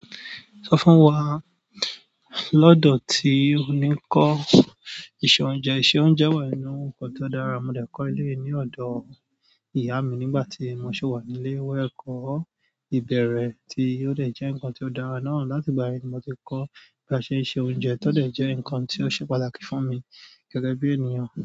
Sọ fún wa lọ́dọ̀ tí ó ní kọ́ ìṣe oúnjẹ. Ìṣe oúnjẹ wà nínú nǹkan tó dára, mo dẹ̀ kọ́ eleyii ní ọ̀dọ̀ ìyá mi nígbàtí mo ṣiwa nílé ìwé ẹ̀kọ́ ìbẹ̀rẹ̀ tí ó de jẹ́ ǹkan tí ó dára náà láti ìgbà yẹn ni mo ti kọ́ bí a ṣe ń se oúnjẹ tó jẹ́ ǹkan tí ó ṣe pàtàkì fún mi gẹ́gẹ́ bí ènìyàn.